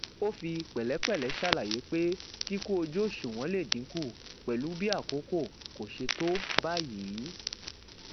ó fi pèlépèlé ṣàlàyé pé kíkú ojú òṣùwọn lè dínkù pẹlú bí àkókò kò ṣe tó báyìí